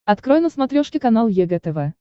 открой на смотрешке канал егэ тв